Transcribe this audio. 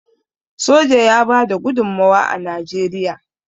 soja ya bada gudummawa a najeriya